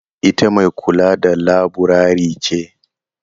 Ita mai kula da laburare ce?